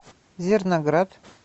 зерноград